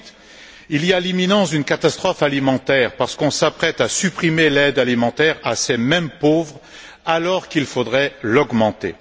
Ensuite, il y a l'imminence d'une catastrophe alimentaire, parce qu'on s'apprête à supprimer l'aide alimentaire à ces mêmes pauvres alors qu'il faudrait l'augmenter.